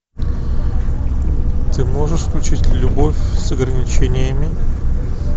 ты можешь включить любовь с ограничениями